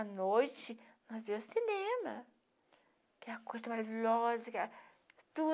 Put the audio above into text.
À noite, nós via cinema, que é a coisa mais lógica,